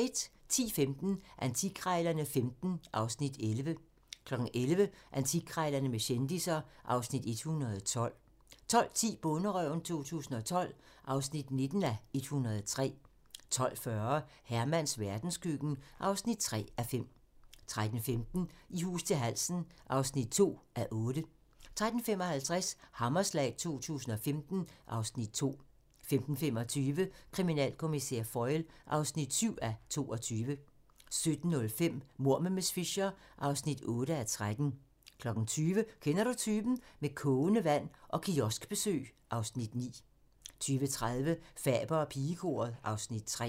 10:15: Antikkrejlerne XV (Afs. 11) 11:00: Antikkrejlerne med kendisser (Afs. 112) 12:10: Bonderøven 2012 (19:103) 12:40: Hermans verdenskøkken (3:5) 13:15: I hus til halsen (2:8) 13:55: Hammerslag 2015 (Afs. 2) 15:25: Kriminalkommissær Foyle (7:22) 17:05: Mord med miss Fisher (8:13) 20:00: Kender du typen? - Med kogende vand og kioskbesøg (Afs. 9) 20:30: Faber og pigekoret (Afs. 3)